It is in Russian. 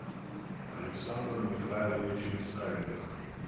александром михайловичем савиных